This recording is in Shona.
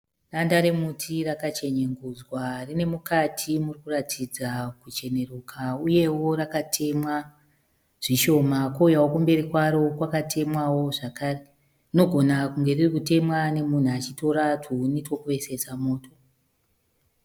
Danda remuti rakachenyengudzwa rine mukati murikuratidza kucheneruka uyewo rakatemwa zvishoma kwouyawo kumberi kwaro kwakatemwawo zvekare zvinogona kunge ririkutemwa nemunhu achitora tuhuni twekuvesesa moto.